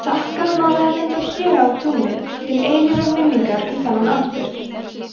sakka málaði mynd af héra á tunglið til eilífrar minningar um þennan atburð